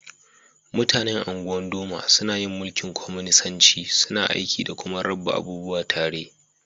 Mutanen Ungwan-Doma sunna yin mulki'n kwaminisanci. Suna aiki da kuma rabba abubuwa tare.